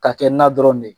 Ka kɛ na dɔrɔn de